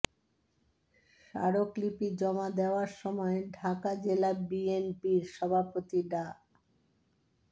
স্মারকলিপি জমা দেওয়ার সময় ঢাকা জেলা বিএনপির সভাপতি ডা